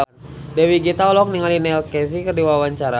Dewi Gita olohok ningali Neil Casey keur diwawancara